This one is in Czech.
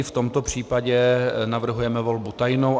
I v tomto případě navrhujeme volbu tajnou.